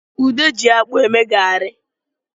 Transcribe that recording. Ude ji akpụ eme garị